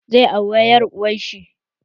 Zai aure ƴar uwar shi